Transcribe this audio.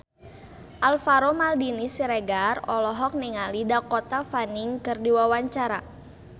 Alvaro Maldini Siregar olohok ningali Dakota Fanning keur diwawancara